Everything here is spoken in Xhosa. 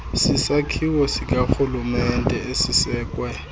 sisakhiwo sikarhulumente esisekwe